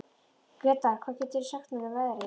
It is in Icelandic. Gretar, hvað geturðu sagt mér um veðrið?